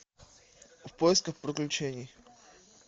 в поисках приключений